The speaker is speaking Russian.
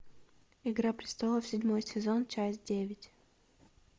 игра престолов седьмой сезон часть девять